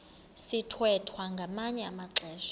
sithwethwa ngamanye amaxesha